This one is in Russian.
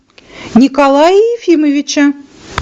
николая ефимовича